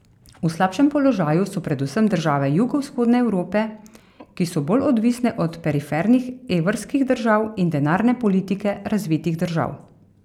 V slabšem položaju so predvsem države jugovzhodne Evrope, ki so bolj odvisne od perifernih evrskih držav in denarne politike razvitih držav.